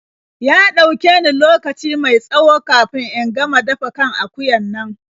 Ya ɗauke ni lokaci mai tsawo kafin in gama dafa kan akuyan nan.